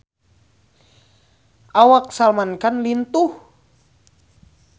Awak Salman Khan lintuh